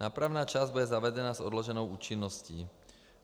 Nápravná část bude zavedena s odloženou účinností.